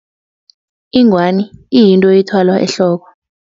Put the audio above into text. Ingwani iyinto ethwalwa ehloko.